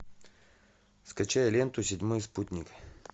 скачай ленту седьмой спутник